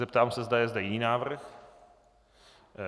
Zeptám se, zda je zde jiný návrh.